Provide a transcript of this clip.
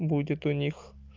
будет у них